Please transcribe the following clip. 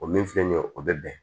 O min filɛ nin ye o bɛ bɛn